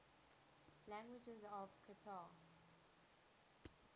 languages of qatar